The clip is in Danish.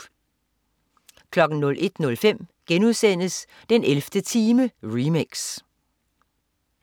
01.05 den 11. time remix*